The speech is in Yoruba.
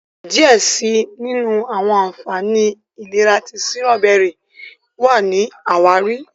diẹ síi àwọn ànfàní ìlera ti Sírọ́bẹ́rì wá ní àwáàrí.